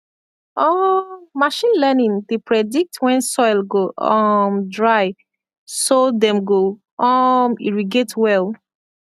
um machine learning dey predict when soil go um dry so dem go um irrigate well